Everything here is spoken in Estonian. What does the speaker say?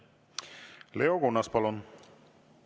Leo Kunnas, palun!